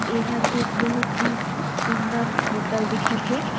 एह एक बहुत ही सुन्दर होटल दिखत हे।